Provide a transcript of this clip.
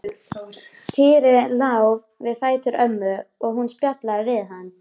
Týri lá við fætur ömmu og hún spjallaði við hann.